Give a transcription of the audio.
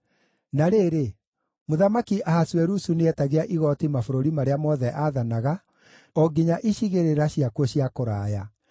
Na rĩrĩ, Mũthamaki Ahasuerusu nĩeetagia igooti mabũrũri marĩa mothe aathanaga, o nginya icigĩrĩra ciakuo cia kũraya.